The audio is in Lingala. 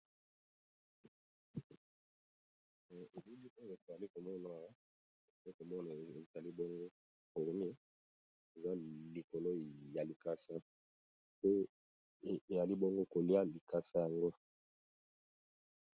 Eee elili oyo twalikomona awa tozakomone ezalibongo fourmie ezalikolo ya likasa pe yalibongo koliya likosa yango